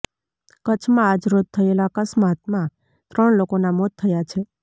કચ્છમાં આજ રોજ થયેલા આકસ્માતમાં ત્રણ લોકોના મોત થયા છે